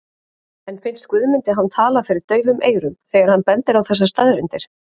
En finnst Guðmundi hann tala fyrir daufum eyrum þegar hann bendir á þessar staðreyndir?